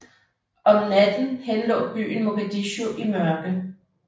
Om natten henlå byen Mogadishu i mørke